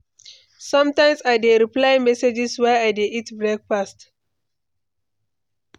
Sometimes I dey reply messages while I dey eat breakfast.